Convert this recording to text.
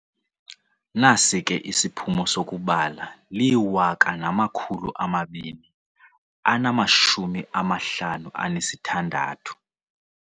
Nasi ke isiphumo sokubala, liwaka namakhulu amabini anamashumi amahlanu anesithandathu.